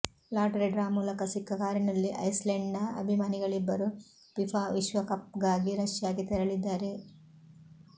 lottery draw ಮೂಲಕ ಸಿಕ್ಕ ಕಾರಿನಲ್ಲಿ ಐಸ್ಲೆಂಡ್ನ ಅಭಿಮಾನಿಗಳಿಬ್ಬರು ಫಿಫಾ ವಿಶ್ವಕಪ್ಗಾಗಿ ರಷ್ಯಾಗೆ ತೆರಳಿದ್ದಾರೆ